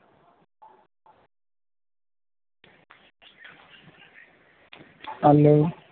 Hello